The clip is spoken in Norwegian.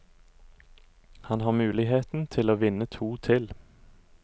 Han har muligheten til å vinne to til.